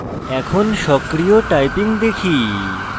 এখন সক্রিয় typing দেখি